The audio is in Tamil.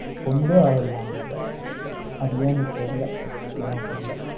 கொண்டே வரவில்லையாம் அந்த இதை அது ஏன்னு தெரியலே, அத பத்தி என்னன்னு தெரியலே.